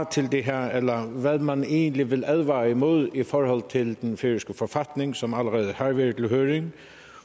til det her eller hvad man egentlig vil advare imod i forhold til den færøske forfatning som allerede har været i høring